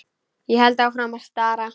Ég held áfram að stara.